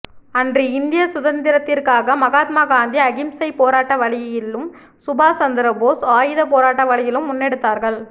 அன்று இந்திய சுதந்திரத்திற்காக மகாத்மா காந்தி அகிம்சை போராட்ட வழியிலும் சுபாஸ் சந்திரபோஷ் ஆயுதப் போராட்ட வழியிலும் முன்னெடுத்தார்கள்